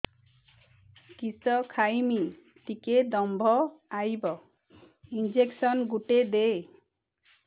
କିସ ଖାଇମି ଟିକେ ଦମ୍ଭ ଆଇବ ଇଞ୍ଜେକସନ ଗୁଟେ ଦେ